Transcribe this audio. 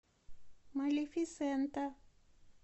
малефисента